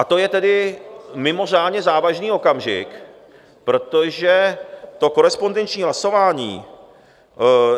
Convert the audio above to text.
A to je tedy mimořádně závažný okamžik, protože to korespondenční hlasování...